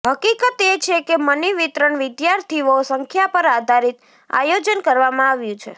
હકીકત એ છે કે મની વિતરણ વિદ્યાર્થીઓ સંખ્યા પર આધારિત આયોજન કરવામાં આવ્યું છે